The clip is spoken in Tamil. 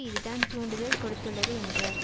இதுதான் தூண்டுதல் கொடுத்துள்ளது என்றார்